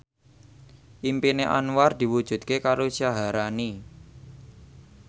impine Anwar diwujudke karo Syaharani